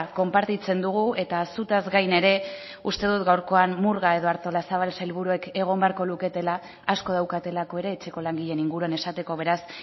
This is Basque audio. konpartitzen dugu eta zutaz gain ere uste dut gaurkoan murga edo artolazabal sailburuek egon beharko luketela asko daukatelako ere etxeko langileen inguruan esateko beraz